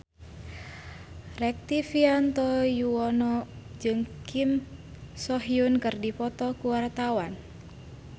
Rektivianto Yoewono jeung Kim So Hyun keur dipoto ku wartawan